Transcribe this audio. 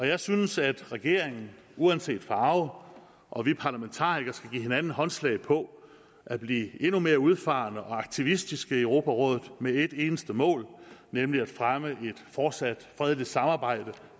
jeg synes at regeringen uanset farve og vi parlamentarikere skal give hinanden håndslag på at blive endnu mere udfarende og aktivistiske i europarådet med et eneste mål nemlig at fremme et fortsat fredeligt samarbejde og